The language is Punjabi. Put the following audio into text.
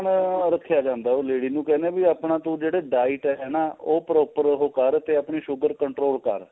ਆ ਰੱਖਿਆ ਜਾਂਦਾ ਉਹ ladies ਨੂੰ ਕਹਿ ਦਿੰਦੇ ਏ ਵੀ ਆਪਣਾ ਤੂੰ ਜਿਹੜੇ diet ਏ ਨਾ ਉਹ proper ਉਹ ਕਰ ਤੇ ਆਪਣੀ sugar control ਕਰ